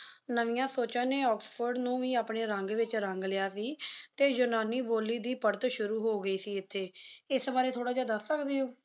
ਨਵੀਆ ਸੋਚਾਂ ਨੀ ਆਕਸਫੋਰਡ ਨੂ ਅਪਨੇ ਰੰਗ ਵਿਚ ਰੰਗ ਲਿਆ ਸੀ ਤੇ ਯੂਨਾਨੀ ਬੋਲੀ ਦੀ ਪੜਤ ਸ਼ੁਰੂ ਹੋ ਗਈ ਸੀ ਇਥੇ, ਏਸ ਵਾਰੀ ਥੋਰਾ ਜੇਹਾ ਦਸ ਸਕਦੀ ਹੋ?